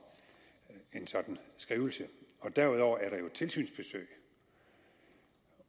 en sådan skrivelse derudover er der jo tilsynsbesøg